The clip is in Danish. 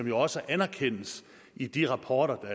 jo også anerkendes i de rapporter